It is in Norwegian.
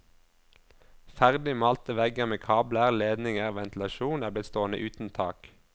Ferdig malte vegger med kabler, ledninger, ventilasjon er blitt stående uten tak.